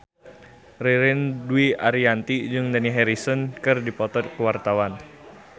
Ririn Dwi Ariyanti jeung Dani Harrison keur dipoto ku wartawan